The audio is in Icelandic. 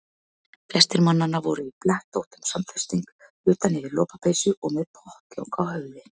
Flestir mannanna voru í blettóttum samfesting utan yfir lopapeysu og með pottlok á höfði.